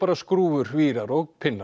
skrúfur vírar og